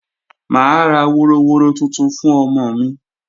Mà á ra woroworo tuntun fún ọmọ mi